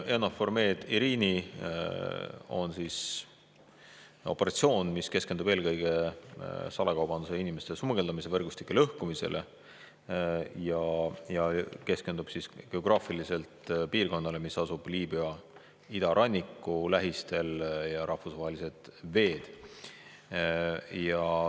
EUNAFOR Med/Irini on operatsioon, mis eelkõige salakaubanduse ja inimeste smugeldamise võrgustike lõhkumisele ja keskendub geograafiliselt piirkonnale, mis asub Liibüa idaranniku lähistel, rahvusvahelistele vetele.